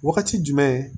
Wagati jumɛn